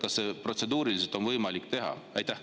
Kas seda on protseduuriliselt võimalik teha?